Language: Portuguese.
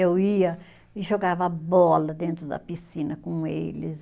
Eu ia e jogava bola dentro da piscina com eles.